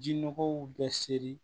Jinɔgɔw bɛɛ seri